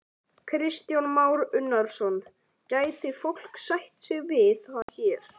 Kristján Már Unnarsson: Gæti fólk sætt sig við það hér?